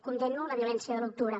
condemno la violència de l’u d’octubre